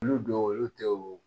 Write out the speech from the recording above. Olu dɔw olu tɛ o